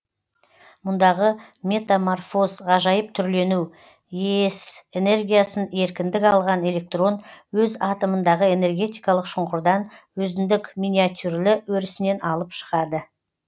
мұндағы метаморфоз ғажайып түрлену ее с энергиясын еркіндік алған электрон өз атомындағы энергетикалық шұңқырдан өзіндік миниатюрлі өрісінен алып шығады